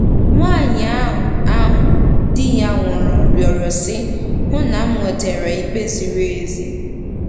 Nwaanyị ahụ ahụ di ya nwụrụ rịọrọ, sị: “ Hụ na m nwetara ikpe ziri ezi.